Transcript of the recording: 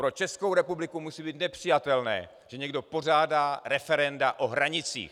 Pro Českou republiku musí být nepřijatelné, že někdo pořádá referenda o hranicích.